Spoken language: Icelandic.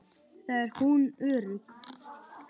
Þar er hún örugg.